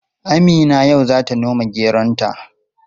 Amina yau zata noma geronta.